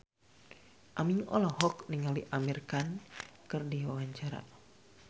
Aming olohok ningali Amir Khan keur diwawancara